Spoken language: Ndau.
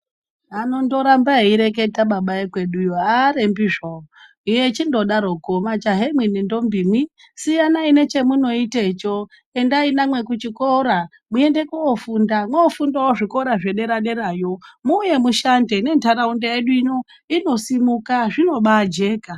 Anondoramba eireketa baba ekweduyo haarembi zvawo echindodaroko majaha imwi nendombi mwi siyanai nechemunoitecho, endai namwe kuchikora muende koofunda. Moofundawo zvikora zvedera-derayo, muuye mushande, nendaraunda yedu ino inosimuka, zvinobaajeka.